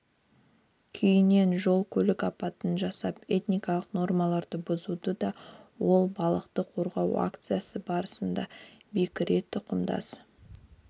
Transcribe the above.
күйінде жол-көлік апатын жасап этникалық нормаларды бұзуы да ол балықты қорғау акциясы барысында бекіре тұқымдас